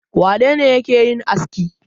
Wane ne yake yin aski?